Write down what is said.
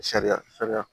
Sariya sariya